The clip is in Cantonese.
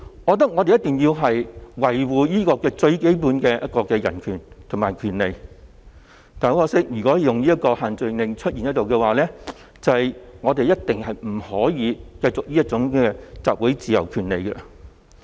我認為我們一定要維護最基本的人權和權利，但如果限聚令仍存在，我們一定不可以繼續行使集會權利。